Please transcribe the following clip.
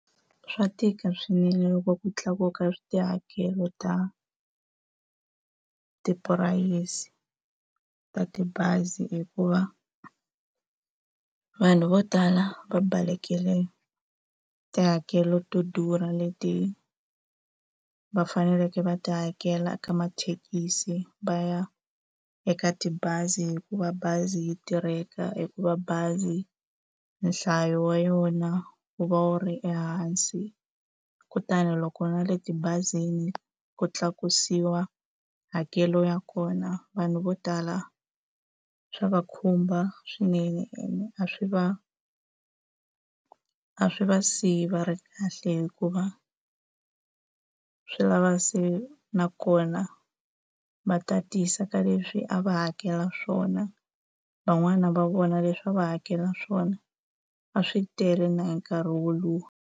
Swa tika swinene loko ku tlakuka ka tihakelo ta tipurayisi ta tibazi hikuva, vanhu vo tala va balekile tihakelo to durha leti va faneleke va ti hakela eka mathekisi va ya eka tibazi. Hikuva bazi yi tirheka, hikuva bazi nhlayo wa yona wu va wu ri ehansi. Kutani loko na le tibazini ku tlakusiwa hakelo ya kona vanhu vo tala swa va khumba swinene, ene a swi va a swi va siya va ri kahle hikuva swi lava se nakona va tatisa ka leswi a va hakela swona. Van'wani va vona leswi a va hakela swona a swi tele na hi nkarhi woluwa.